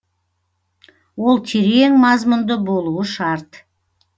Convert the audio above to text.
ол терең мазмұнды болуы шарт